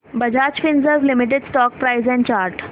Bajaj Finserv limited stock price and chart